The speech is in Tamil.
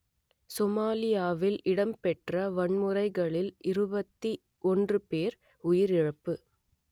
சோமாலியாவில் இடம்பெற்ற வன்முறைகளில் இருபத்தி ஒன்று பேர் உயிரிழப்பு